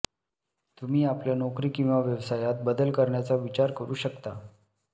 तुम्ही आपल्या नोकरी किंवा व्यवसायात बदल करण्याचा विचार करू शकतात